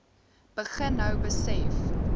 begin nou besef